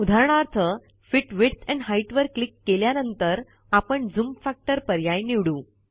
उदाहरणार्थ fit width and height वर click केल्यानंतर आपण झूम फॅक्टर पर्याय निवडू